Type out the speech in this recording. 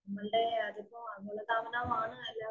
നമ്മളുടെ ഇപ്പൊ അമിതതാ